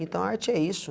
Então, a arte é isso.